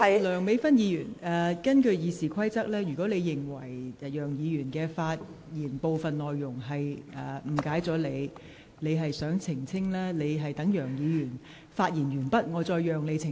梁美芬議員，根據《議事規則》，如果你認為楊議員發言的部分內容誤解了你，而你想澄清，我可在楊議員發言完畢後讓你澄清。